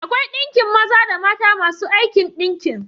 Akwai ɗinkin maza da mata masu aikin ɗinki.